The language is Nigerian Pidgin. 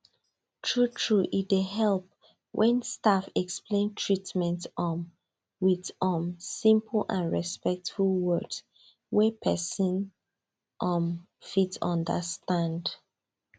truetrue e dey help when staff explain treatment um with um simple and respectful words wey person um fit understand